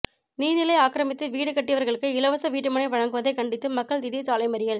நீர்நிலை ஆக்கிரமித்து வீடு கட்டியவர்களுக்கு இலவச வீட்டுமனை வழங்குவதை கண்டித்து மக்கள் திடீர் சாலை மறியல்